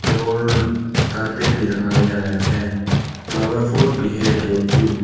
और कारपेट भी लगाया गया है फ्लावर पॉट भी है दो।